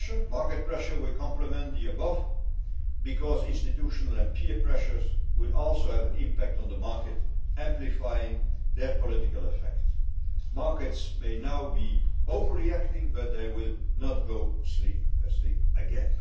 Market pressure will complement the above because institutional and peer pressures will also have an impact on the market, amplifying their political effect. Markets may now be over reacting, but they will not go to sleep again!